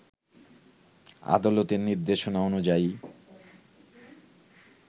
আদালতের নির্দেশনা অনুযায়ী